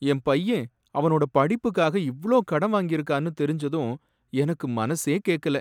என் பையன் அவனோட படிப்புக்காக இவ்ளோ கடன் வாங்கிருக்கான்னு தெரிஞ்சதும் எனக்கு மனசே கேக்கல!